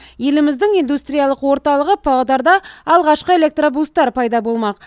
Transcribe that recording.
еліміздің индустриялық орталығы павлодарда алғашқы электробустер пайда болмақ